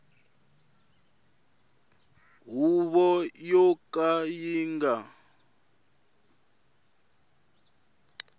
huvo yo ka yi nga